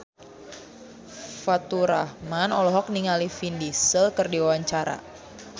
Faturrahman olohok ningali Vin Diesel keur diwawancara